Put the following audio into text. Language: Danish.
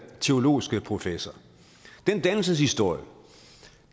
teologiske professor den dannelseshistorie